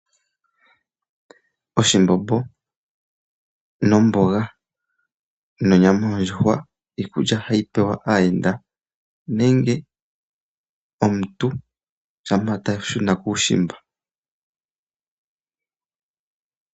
Oshimbombo nomboga nonyama yondjuhwa iikulya hayi pewa aayenda nenge omuntu shampa ta shuna kuushimba.